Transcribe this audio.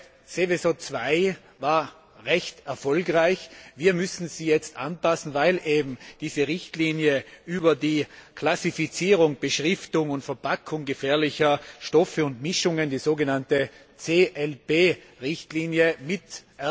Die Seveso II Richtlinie war recht erfolgreich. Wir müssen sie jetzt anpassen, weil die Richtlinie über die Klassifizierung, Beschriftung und Verpackung gefährlicher Stoffe und Mischungen, die sogenannte CLB Richtlinie, mit